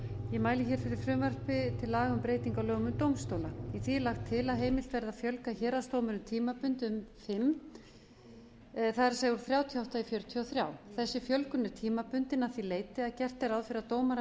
ég mæli fyrir frumvarpi til laga um breyting á lögum um dómstóla í því er lagt til að heimilt verði að fjölga héraðsdómurum tímabundið um sinn það er úr þrjátíu og átta í fjörutíu og þrjú þessi fjölgun er tímabundin að því leyti að gert er ráð fyrir að dómarar